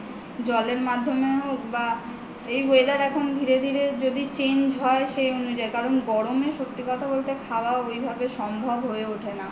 জলের মাধ্যমে হোক বা এই weather এখন ধীরে ধীরে যদি change হয় সে অনুযায়ী কারণ গরম এ সত্যি কথা বলতে খাওয়া ঐভাবে সম্ভব হয়ে ওঠে না